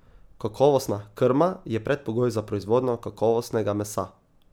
Kakovostna krma je predpogoj za proizvodnjo kakovostnega mesa.